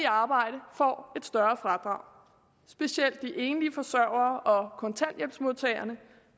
arbejde får et større fradrag specielt de enlige forsørgere og kontanthjælpsmodtagerne